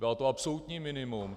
Bylo to absolutní minimum.